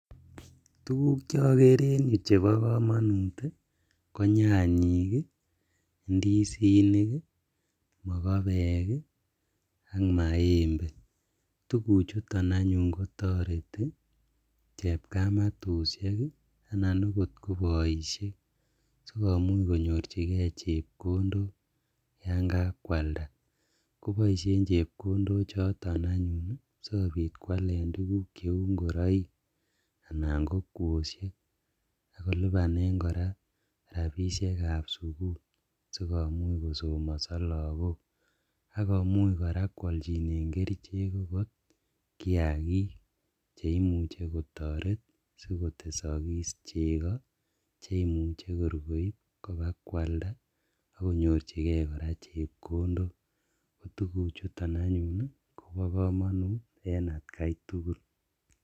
Tukuk chokeree en yuu chebokomonut konyanyik, ndisinik, mokobeek ak maembe, tukuchuton anyun kotoreti chepkamatushek anan okot ko boishek sikomuch konyorchikee chepkondok yaan kakwalda koboishen chepkondok choton anyun sikobit kwaleen tukuk cheuu ing'oroik anan ko kwoshek akolibanen kora rabishekab sukul sikomuch kosomoso lokok, akomuuch kora kwalchinen kerichek chebo kiakik cheimuche kotoret sikotesokis chekoo cheimuche kor koib kobakwalda akonyorchikee kora chepkondok, tukuchuton anyun kobokomonut en atkai tukul.